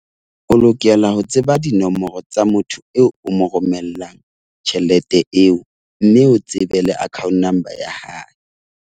O lokela ho tseba dinomoro tsa motho eo o mo romellang tjhelete eo. Mme o tsebe le account number ya hae.